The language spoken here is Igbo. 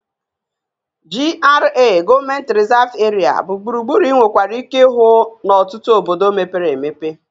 GRA(Government Reserved Area) bụ gburugburu ị nwekwara ike ịhụ n'ọtụtụ obodo mepere emepe